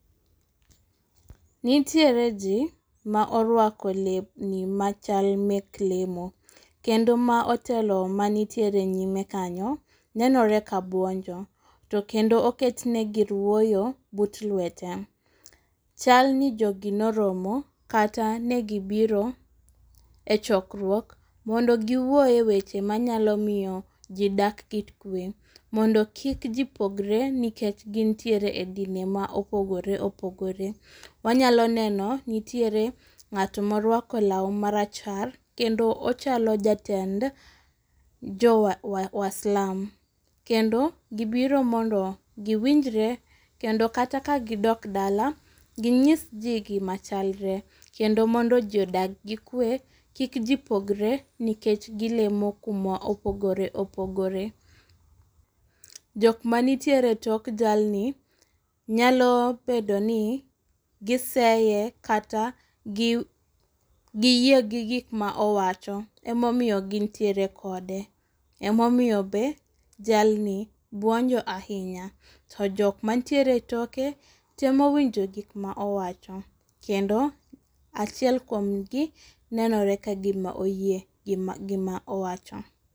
Nitiere ji ma orwako lewni machal mek lemo, kendo ma otel manitiere nyime kanyo nenore ka buonjo. To kendo oketne gir wuoyo but lwete. Chalni jogi noromo kata ne gibiro e chokruok, mondo giwuo e weche manyalo miyo ji dak gi kwe. Mondo kik ji pogre nikech gintiere e dinde ma opogore opogore. Wanyalo neno nitiere ng'at ma orwako lawu marachar, kendo ochalo jatend jo Waslam. Kendo gibiro mondo giwinjre, kendo kata ka gidok e dala, ginyis ji gima chalre. Kendo mondo ji odag gi kwe, kik ji pogre nikech gilemo kuma opogore opogore. Jokma nitiere e tok jalni, nyalo bedo ni giseye kata giyie gi gik ma owacho. Emomiyo gintiere kode, emomiye be jalni nyiero ahinya. To jok mantiere e toke, temo winjo gik ma owacho, kendo achiel kuom gi nenore ka gima oyie gi gima owacho.